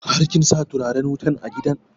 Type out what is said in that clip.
Har kin sa turaren wutan a gidan?